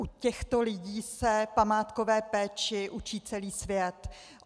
U těchto lidí se památkové péči učí celý svět.